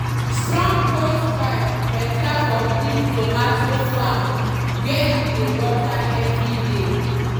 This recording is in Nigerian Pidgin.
strong hosepipe better for big tomato farm where you dey water every day.